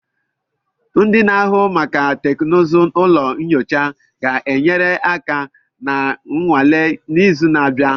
Ndị na-ahụ maka teknụzụ ụlọ nyocha ga-enyere aka na nnwale n'izu na-abịa.